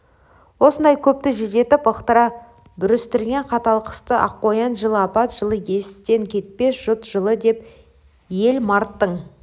осындай көпті жүдетіп ықтыра бүрістірген қатал қысты аққоян жылы апат жылы естен кетпес жұт жылы деп ел марттың